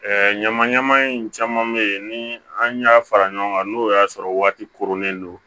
ɲama ɲama in caman bɛ ye ni an y'a fara ɲɔgɔn kan n'o y'a sɔrɔ waati koronnen don